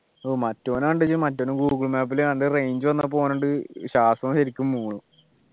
ഓ മറ്റൊനെ കണ്ട ഈയ്യ് മറ്റോൻ ഗൂഗിൾ മാപ്പിൽ ഏതാണ്ട് range വന്നപ്പോ ഓനുണ്ട് ശ്വാസം ശരിക്കും പോകുന്നു